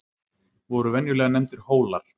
Voru venjulega nefndir Hólar.